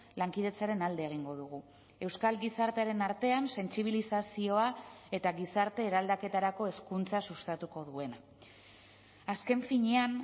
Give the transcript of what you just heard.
lankidetzaren alde egingo dugu euskal gizartearen artean sentsibilizazioa eta gizarte eraldaketarako hezkuntza sustatuko duena azken finean